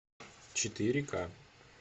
четыре ка